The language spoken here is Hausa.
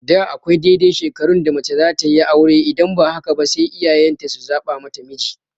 Da akwai daidai shekarun da mace zatayi aure idan ba haka ba sai iyayen ta su zaɓa mata miji